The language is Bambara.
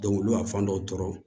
olu y'a fan dɔw tɔɔrɔ